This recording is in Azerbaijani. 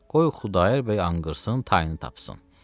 qoy Xudayar bəy anqırsın tayını tapsın.